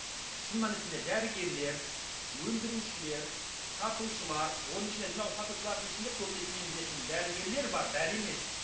мхм шын мәнісінде дәрігерлер өндірушілер сатушылар оның ішінде мынау сатушылардың ішінде көбінесе менің білетінім дәрігерлер бар бәрі емес